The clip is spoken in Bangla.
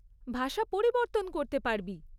ভাষা পরিবর্তন করতে পারবি।